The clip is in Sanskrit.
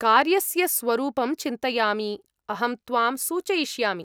कार्यस्य स्वरूपं चिन्तयामि, अहं त्वां सूचयिष्यामि।